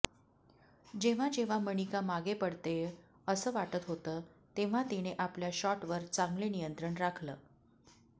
जेव्हा जेव्हा मनिका मागे पडतेय अस वाटत होतं तेव्हा तिने आपल्या शॉटवर चांगले नियंत्रण राखलं